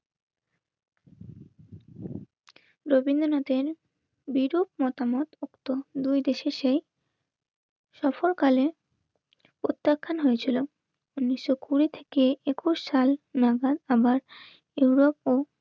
রবীন্দ্রনাথের বিরূপ মতামত দুই দেশে সেই সফরকালে প্রত্যাখ্যান হয়েছিল. উনিশশো কুড়ি থেকে একুশ সাল নাগাদ আমার ইউরোপ ও